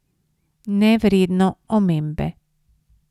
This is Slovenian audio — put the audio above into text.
Nevredno omembe.